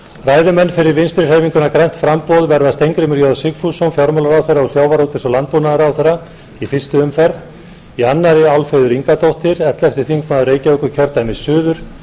ræðumenn fyrir vinstri hreyfinguna grænt framboð verða steingrímur j sigfússon fjármálaráðherra og sjávarútvegs og landbúnaðarráðherra í fyrstu umferð í annarri álfheiður ingadóttir ellefti þingmaður reykjavíkurkjördæmis suður